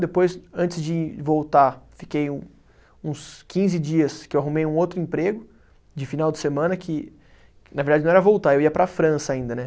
Depois, antes de voltar, fiquei um, uns quinze dias que eu arrumei um outro emprego de final de semana, que que na verdade não era voltar, eu ia para a França ainda, né?